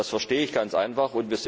Das verstehe ich ganz einfach.